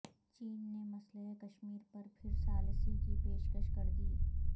چین نے مسئلہ کشمیر پر پھر ثالثی کی پیشکش کردی